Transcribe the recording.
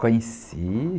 Conheci.